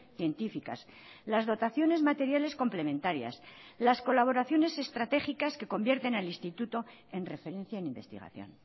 científicas las dotaciones materiales complementarias las colaboraciones estratégicas que convierten el instituto en referencia en investigación